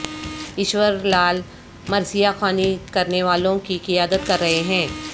ایشور لعل مرثیہ خوانی کرنے والوں کی قیادت کررہے ہیں